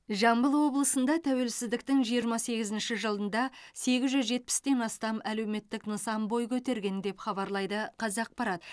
жамбыл облысында тәуелсіздіктің жиырма сегізінші жылында сегіз жүз жетпістен астам әлеуметтік нысан бой көтерген деп хабарлайды қазақпарат